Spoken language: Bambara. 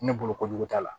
Ne bolo kojugu t'a la